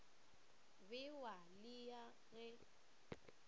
be wa ya le ge